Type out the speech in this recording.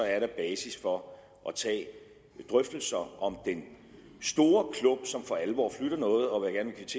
er der basis for at tage drøftelser om den store klump som for alvor vil flytte noget og